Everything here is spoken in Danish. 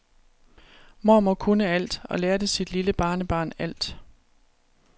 Mormor kunne alt og lærte sit lille barnebarn alt.